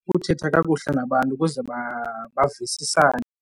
Ukuthetha kakuhle nabantu ukuze bavisisane.